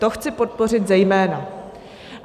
To chci podpořit zejména.